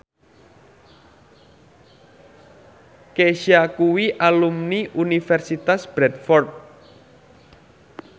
Kesha kuwi alumni Universitas Bradford